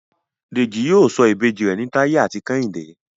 Deji yíò sọ Ìbejì rẹ ní Taye àti Kehinde.